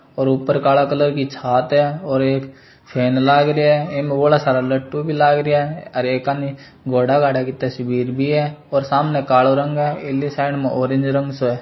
और ऊपर काला कलर की छात है और एक फेन लाग रेहा है इमे बोड़ा सारा लट्टू भी लाग रेहा है हर एक कानी घोड़ा घाडा की तस्वीर बी है और सामन कालो रंग है ऐली साइड मे ऑरेंज रंग सो है।